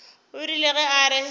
o rile ge a re